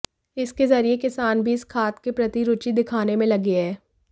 इसके जरिए किसान भी इस खाद के प्रति रूचि दिखाने में लगे हैं